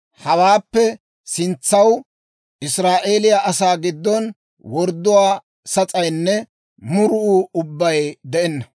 Hawaappe sintsaw Israa'eeliyaa asaa giddon wordduwaa sas'aynne murunuu ubbay de'enna.